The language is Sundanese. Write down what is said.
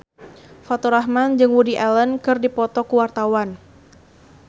Faturrahman jeung Woody Allen keur dipoto ku wartawan